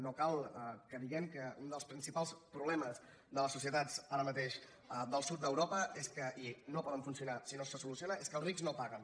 no cal que diguem que un dels principals problemes de les societats ara mateix del sud d’europa és que i no poden funcionar si no se soluciona els rics no paguen